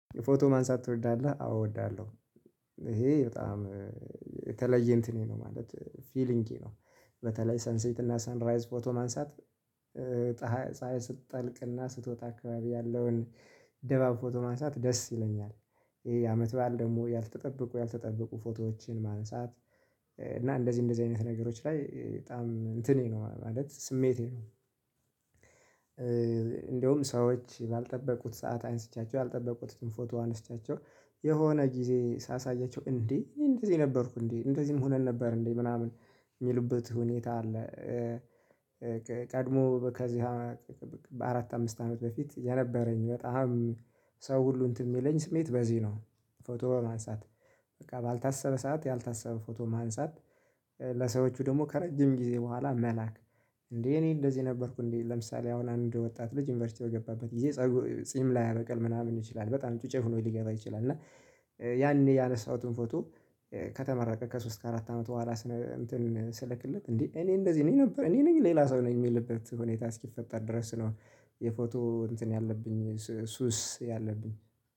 የፎቶ ማንሳት ትወዳለህ አዎ እወዳለሁ ይሄ በጣም የተለየ እንትኔ ነው ማለት ፊሊንግ ነው። በተለይ ሰንሴት እና ሰንራይዝ ፎቶ ማንሳት። ፀሀይ ስትጠልቅና ስትወጣ አካባቢ ያለውን ድባብ ፎቶ ማንሳት ደስ ይለኛል። ይሄ አመት በዓል ደግሞ ያልተጠበቁ ያልተጠበቁ ፎቶዎችን ማንሳት እና እንደዚህ እንደዚህ አይነት ነገሮች ላይ በጣም እንትኔ ነው ማለት ስሜቴ ነው። እንደውም ሰዎች ባልጠበቁት ሰዓት አንስቼአቸው ያልጠበቁትን ፎቶዋን አንስቼአቸው የሆነ ጊዜ ሳሳያቸው እንዴ እኔ እንደዚህ ነበርኩ እንዴ እንደዚህም ሆነን ነበር እንዴ ምናምን የሚሉበት ሁኔታ አለ። ቀድሞ ከዚያ በአራት አምስት አመት በፊት የነበረኝ በጣም ሰው ሁሉ እንትን ሚለኝ ስሜት በዚህ ነው። ፎቶ በማንሳት በቃ ባልታሰበ ሰዓት ያልታሰበ ፎቶ ማንሳት። ለሰዎቹ ደግሞ ከረጅም ጊዜ በኋላ መላክ። እንዴ እኔ እንደዚህ ነበርኩ እንዴ ለምሳሌ አሁን አንድ ወጣት ልጅ ዩኒቨርሲቲ በገባበት ጊዜ ጺም ላይ ላያበቅል ምናምን ይችላል በጣም ጩጬ ሆኖ ሊገባ ይችላል። እና ያኔ ያነሳሁትን ፎቶ ከተመረቀ ከሶስት ከአራት አመት በኋላ ስልክለት እንዴ እኔ እንደዚህ ነኝ ነበር እኔ ነኝ ሌላ ሰው ነኝ የሚልበት ሁኔታ እስኪፈጠር ድረስ ነው። የፎቶ እንትን ያለብኝ ሱስ ያለብኝ